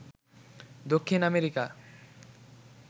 Dakshin America